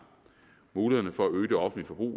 mulighederne for at øge det offentlige